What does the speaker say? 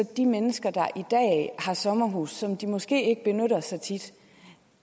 de mennesker der i dag har et sommerhus som de måske ikke benytter så tit